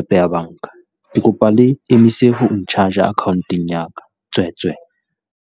app ya banka, ke kopa le emise ho n-charge-a accoun-teng ya ka, tswe tswe.